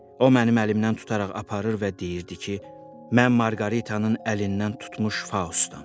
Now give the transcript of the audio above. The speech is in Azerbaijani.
O mənim əlimdən tutaraq aparır və deyirdi ki, mən Marqaritanın əlindən tutmuş Faustam.